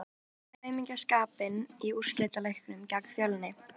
Sá enginn aumingjaskapinn í úrslitaleiknum gegn Fjölni?